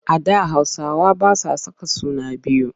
A da Hausawa ba sa saka suna biyu.